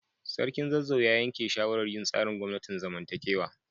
Sarkin Zazzau ya yanke shawarar yin tsarin gwamnatin zamantakewa.